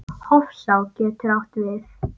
Hofsá getur átt við